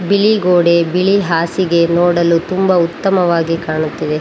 ಬಿಳಿ ಗೋಡೆ ಬಿಳಿ ಹಾಸಿಗೆ ನೋಡಲು ತುಂಬಾ ಉತ್ತಮವಾಗಿ ಕಾಣುತ್ತವೆ.